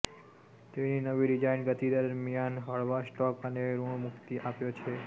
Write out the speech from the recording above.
તેની નવી ડિઝાઇન ગતિ દરમિયાન હળવા સ્ટ્રોક અને ઋણમુક્તિ આપ્યો